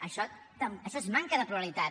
això és manca de pluralitat